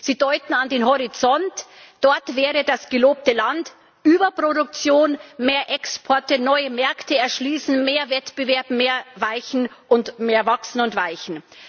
Sie deuten an den Horizont, dort wäre das gelobte Land Überproduktion, mehr Exporte, neue Märkte erschließen, mehr Wettbewerb, mehr weichen und mehr wachsen und weichen.